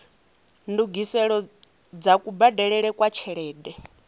ndungiselo dza kubadelele kwa tshelede